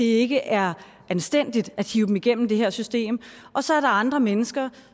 ikke er anstændigt at hive dem igennem det her system og så er der andre mennesker